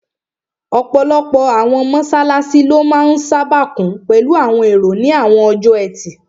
Ọ̀pọ̀lọpọ̀ àwọn mọ́sálásí ló máa n sáábà kún pẹ̀lú àwọn èrò ní àwọn ọjọ́ ẹtì